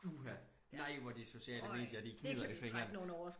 Uha nej hvor de sociale medier de gnider i fingrene